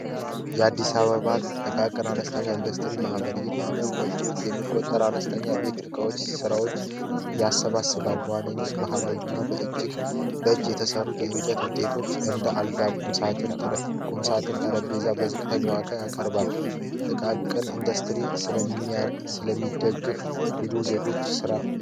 የአዲስ አበባን ጥቃቅንና አነስተኛ ኢንዱስትሪ ማህበር የሚቆጠር አነስተኛ ቤት እቃዎች ስራዎች የአሰባሰብ አልባት ባህላዊ እና በእጅግ ደጅ የተሰሩ የእንጨት ውጤቶች እንደ ስለሚደግፍ ዜጎች ስራ ነው።